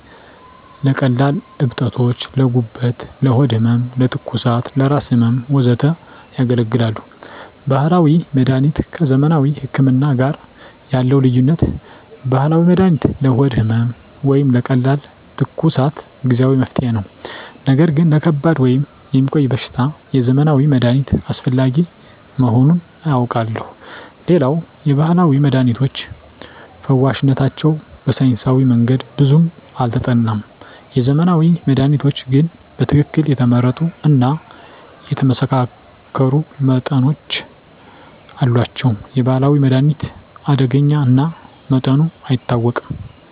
ለቀላል እብጠቶች: ለጉበት፣ ለሆድ ህመም፣ ለትኩሳት፣ ለራስ ህመም፣ ወዘተ ያገለግላሉ። ባህላዊ መድሀኒት ከዘመናዊ ህክምና ጋር ያለው ልዩነት፦ ባህላዊ መድሃኒት ለሆድ ህመም ወይም ለቀላል ትኩሳት ጊዜአዊ መፍትሄ ነው። ነገር ግን ለከባድ ወይም የሚቆይ በሽታ የዘመናዊ መድሃኒት አስፈላጊ መሆኑን አውቃለሁ። ሌላው የባህላዊ መድሃኒቶች ፈዋሽነታቸው በሳይንሳዊ መንገድ ብዙም አልተጠናም። የዘመናዊ መድሃኒቶች ግን በትክክል የተመረጡ እና የተመሳከሩ መጠኖች አሏቸው። የባህላዊ መድሃኒት አደገኛ እና መጠኑ አይታወቅም።